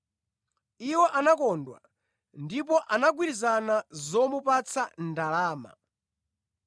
Iwo anakondwa ndipo anagwirizana zomupatsa ndalama.